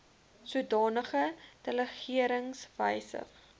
sodanige delegerings wysig